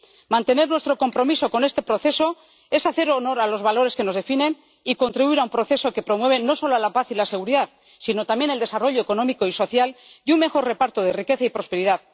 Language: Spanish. Mantener nuestro compromiso con este proceso es hacer honor a los valores que nos definen y contribuir a un proceso que promueve no solo la paz y la seguridad, sino también el desarrollo económico y social y un mejor reparto de la riqueza y la prosperidad.